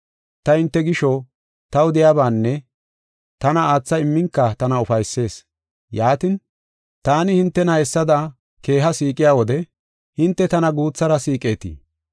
Ta hinte gisho, taw de7iyabaanne tana aatha imminka tana ufaysees. Yaatin, taani hintena hessada keeha siiqiya wode hinte tana guuthara siiqetii?